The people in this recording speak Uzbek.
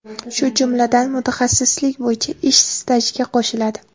shu jumladan mutaxassislik bo‘yicha ish stajiga qo‘shiladi.